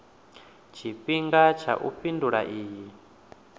tshifhinga tsha u fhindula iyi